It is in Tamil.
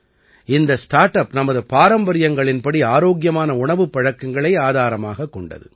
இந்த ஸ்டார்ட் அப் நமது பாரம்பரியங்களின்படி ஆரோக்கியமான உணவுப் பழக்கங்களை ஆதாரமாகக் கொண்டது